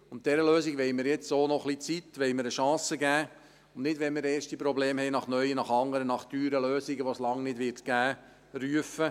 Und dieser Lösung wollen wir jetzt auch noch ein bisschen Zeit und eine Chance geben – und nicht schon bei ersten Problemen nach neuen, nach anderen, nach teuren Lösungen, die es lange nicht geben wird, rufen.